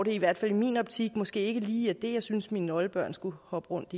i hvert fald i min optik måske ikke lige det jeg synes mine oldebørn skulle hoppe rundt